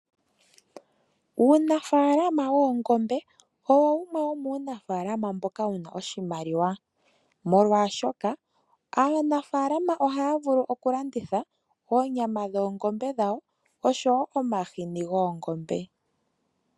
Uunafaalama woongombe owo wumwe womunafaalama mboka wuna oshimaliwa molwashoka aanafaalama ohaya vulu okulanditha oonyama dhoongombe dhawo osho wo omahini goongombe.